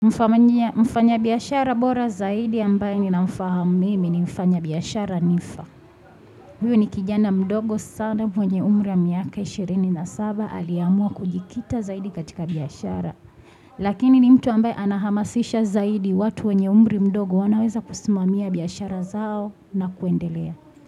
Mfanyabiashara bora zaidi ambaye ninamfahamu mimi ni mfanyabiashara nifa. Huyo ni kijana mdogo sana mwenye umri ya miaka 27 aliamua kujikita zaidi katika biashara. Lakini ni mtu ambaye anahamasisha zaidi watu wenye umri mdogo wanaweza kusimamia biashara zao na kuendelea.